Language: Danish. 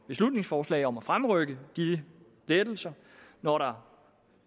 beslutningsforslag om at fremrykke disse lettelser når der